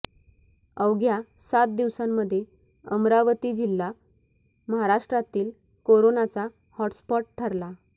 अवघ्या सात दिवसांमध्ये अमरावती जिल्हा महाराष्ट्रातील कोरोनाचा हॉटस्पॉट ठरला